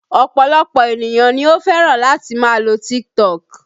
Ọ̀pọ̀lọpọ̀ ènìyàn ni ó fẹ́ràn láti máa lo TikTok